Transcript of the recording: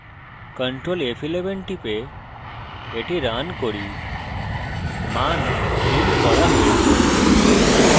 ctrl f11 টিপে the run করি মান printed করা হয়েছে